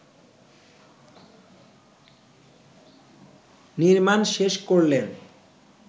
নির্মাণ শেষ করলেন